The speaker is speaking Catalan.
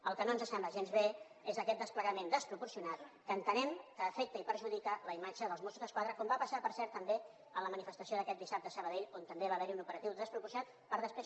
el que no ens sembla gens bé és aquest desplegament desproporcionat que entenem que afecta i perjudica la imatge dels mossos d’esquadra com va passar per cert també en la manifestació d’aquest dissabte a sabadell on també hi va haver un operatiu desproporcionat per després